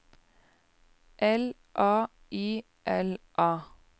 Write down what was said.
L A Y L A